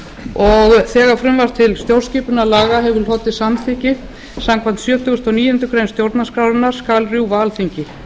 og þegar frumvarp til stjórnskipunarlaga hefur hlotið samþykki samkvæmt sjötugasta og níundu grein stjórnarskrárinnar skal rjúfa alþingi